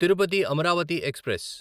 Tirupati Amaravati express